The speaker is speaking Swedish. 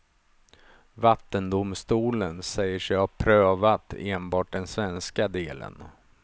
Vattendomstolen säger sig ha prövat enbart den svenska delen.